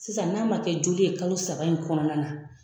Sisan n'a ma kɛ joli ye kalo saba in kɔnɔna na